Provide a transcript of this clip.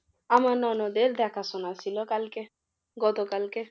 আমার ননদের দেখাশোনা ছিল কালকে গত কালকে।